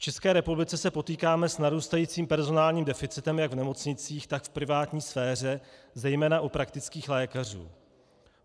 V České republice se potýkáme s narůstajícím personálním deficitem jak v nemocnicích, tak v privátní sféře zejména u praktických lékařů.